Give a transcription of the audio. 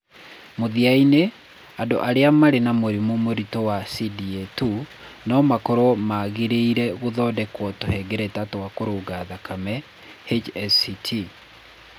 Mũthia-inĩ, andũ arĩa marĩ na mũrimũ mũritũ wa CDA 2 no makorũo magĩrĩire gũthondekwo tũhengereta twa kũruga thakame (HSCT).